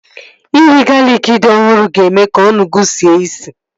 Iri galịkị dị ọhụrụ ga-eme ka ọnụ gị sie isi